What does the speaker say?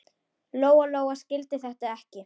Lóa-Lóa skildi þetta ekki.